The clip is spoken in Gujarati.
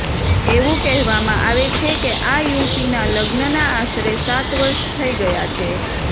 એવું કહેવામાં આવે છે કે આ યુવતીના લગ્નના આશરે સાત વર્ષ થઇ ગયા છે